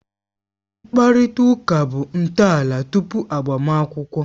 Mkparịta ụka bụ ntọala tupu agbamakwụkwọ